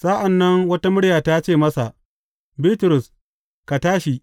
Sa’an nan wata murya ta ce masa, Bitrus, ka tashi.